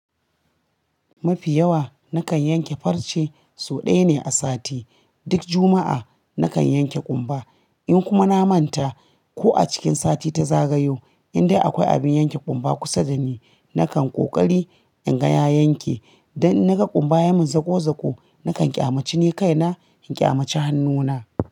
Mafi yawa nakan yanke farce sau ɗaya ne a sati. Duk Juma'a nakan yanke ƙumba. In kuma na manta ko a cikin sati ta zagayo in dai akwai abin yanke ƙumba kusa da ni, nakan ƙoƙari in gaya yanke. Dan naga ƙumba yamin zagozago, nakan ƙyamaci ni kaina in ƙyamaci hannuna.